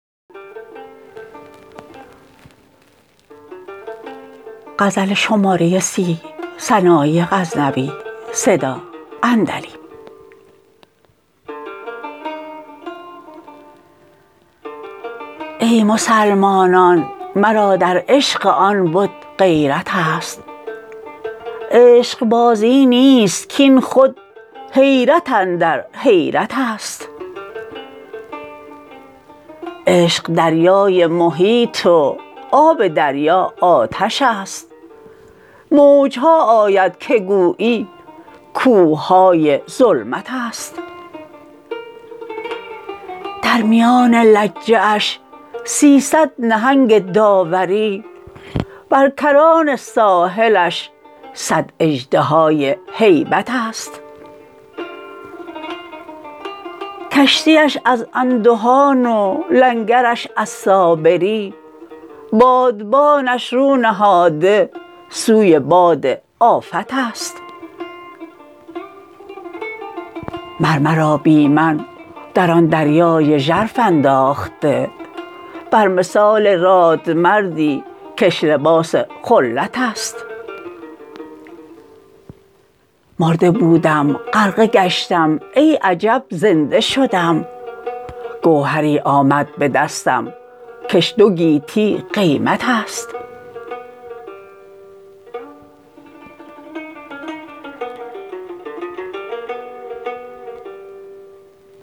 ای مسلمانان مرا در عشق آن بت غیرت ست عشق بازی نیست کاین خود حیرت اندر حیرت ست عشق دریای محیط و آب دریا آتش ست موج ها آید که گویی کوه های ظلمت ست در میان لجه اش سیصد نهنگ داوری بر کران ساحلش صد اژدهای هیبت ست کشتیش از اندهان و لنگرش از صابری بادبانش رو نهاده سوی باد آفت ست مر مرا بی من در آن دریای ژرف انداخته بر مثال رادمردی کش لباس خلت ست مرده بودم غرقه گشتم ای عجب زنده شدم گوهری آمد به دستم کش دو گیتی قیمت ست